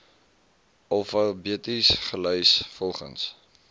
alfabeties gelys volgens